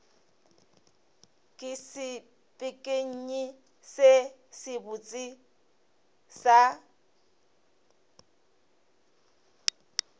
ke sepekenyi se sebotse sa